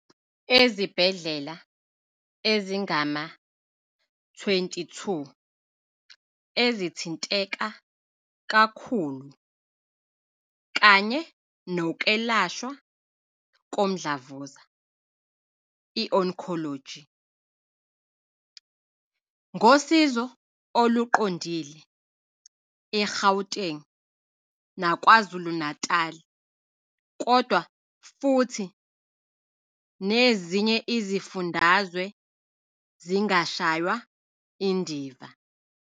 Ezibhedlela ezingama-22 ezithinteka kakhulu kanye nokwelashwa komdlavuza, i-oncology, ngosizo oluqondile eGauteng naKwaZulu-Natali, kodwa futhi nezinye izifundazwe zingashaywa indiva.